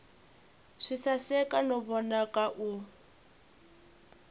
swi saseka no vonaka u